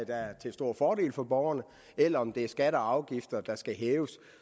er til stor fordel for borgerne eller om det er skatter og afgifter der skal hæves